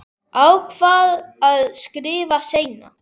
Ákvað að skrifa seinna.